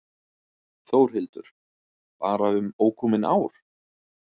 Þórhildur: Bara um ókomin ár?